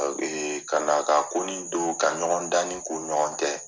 Ka na ka ko ni don ka ɲɔgɔn danni k'u ni ɲɔgɔn tɛ